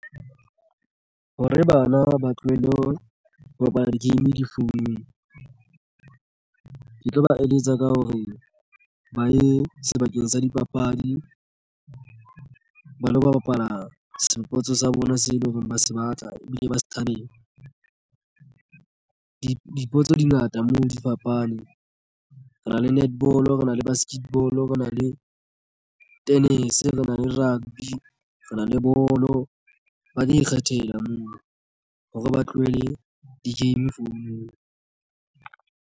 Hore bana ba tlohele ho bapala di-game di founung ke tlo ba eletsa ka hore ba ye sebakeng sa dipapadi ba lo bapala sports sa bona se leng hore ba se batla ebile ba se thabela di dipotso dingata moo di fapane. Re na le netball, rena le basketball, re na le tennis, re nang le rugby, re na le bolo, ba ka ikgethela moo hore ba tlohele di-game founung.